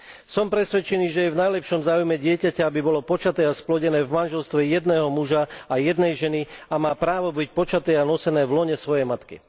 Som presvedčený, že je v najlepšom záujme dieťaťa, aby bolo počaté a splodené v manželstve jedného muža a jednej ženy, a má právo byť počaté a nosené v lone svojej matky.